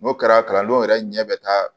N'o kɛra kalandenw yɛrɛ ɲɛ bɛ taa